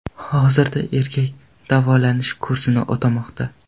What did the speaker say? Hozirda erkak davolanish kursini o‘tamoqda.